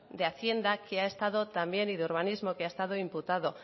de hacienda y urbanismo que ha estado imputado